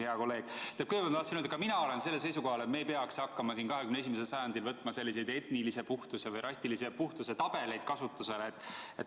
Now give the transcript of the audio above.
Aga kõigepealt ma tahan öelda, et ka mina olen sellel seisukohal, et me ei peaks hakkama 21. sajandil kasutusele võtma selliseid etnilise puhtuse või rassilise puhtuse tabeleid.